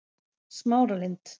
Smáralind